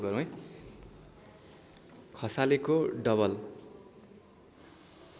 खसालेको double